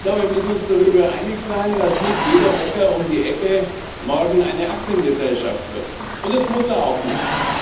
Wir müssen uns darüber einig sein, dass nicht jeder Bäcker um die Ecke morgen eine Aktiengesellschaft wird und das muss er auch nicht.